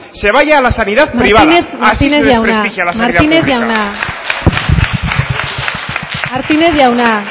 se vaya a la sanidad privada martínez jauna así se desprestigia la sanidad pública txaloak martínez jauna